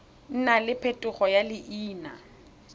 nna le phetogo ya leina